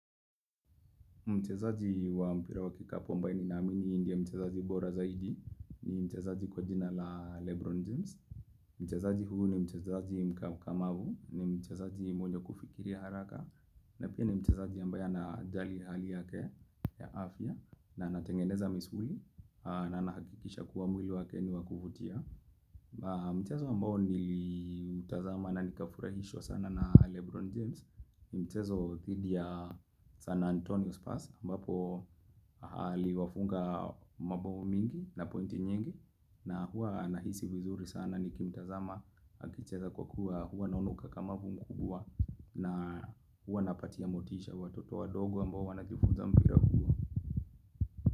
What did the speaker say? Mchezaji wa mpira wa kikapo ambae ni naamini ndio mchezaji bora zaidi, mchezaji kwa jina la Lebron James, mchezaji huyu ni mchezaji mkamavu ni mchezaji mwenye kufikiria haraka, na pia ni mchezaji ambaye anajali hali yake ya afya na anatengeneza misuli na nahakikisha kuwa mwili wake ni wa kuvutia. Mchezo ambao nilitazama na nikafurahishwa sana na Lebron James ni mchezo dhidi ya San Antonio Spas ambapo aliwafunga mabao mingi na pointi nyingi na huwa anahisi vizuri sana nikimtazama akicheza kwa kuwa huwa naona ukakamavu mkubwa na hua napatia motisha watoto wadogo ambao wanajifunza mpira huo.